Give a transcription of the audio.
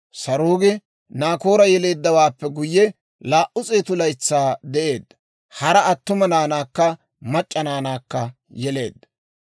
Saruugi Naakoora yeleeddawaappe guyye, 200 laytsaa de'eedda; hara attuma naanaakka mac'c'a naanaakka yeleedda.